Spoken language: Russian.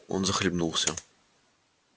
он захлебнулся